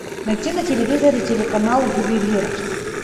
найди на телевизоре телеканал ювелирочка